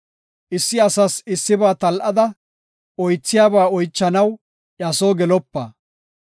Issi asas issiba tal7ada, oythiyaba oychanaw iya soo gelopa.